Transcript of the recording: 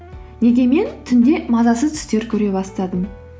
неге мен түнде мазасыз түстер көре бастадым